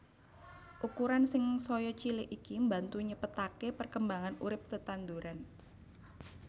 Ukuran sing saya cilik iki mbantu nyepetaké perkembangan urip tetanduran